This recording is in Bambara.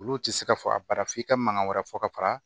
Olu tɛ se ka fɔ a bara f'i ka mankan wɛrɛ fɔ ka fara